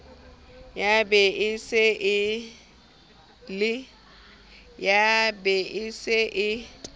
ya be e se e